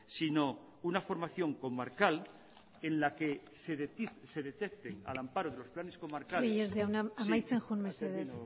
sino una formación comarcal en la que se detecten al amparo de los planes comarcales reyes jauna amaitzen joan mesedez